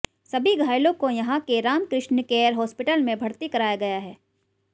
सभी घायलों को यहां के रामकृष्ण केयर हास्पिटल में भर्ती कराया गया है